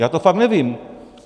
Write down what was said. Já to fakt nevím.